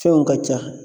Fɛnw ka ca